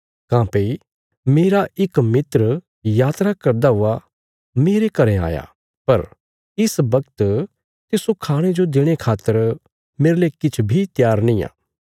काँह्भई मेरा इक मित्र यात्रा करदा हुआ मेरे घरें आया पर इस वगत तिस्सो खाणे जो देणे खातर मेरले किछ बी त्यार निआं